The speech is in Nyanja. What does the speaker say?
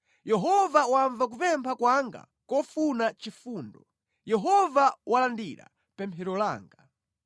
Yehova wamva kupempha kwanga kofuna chifundo; Yehova walandira pemphero langa.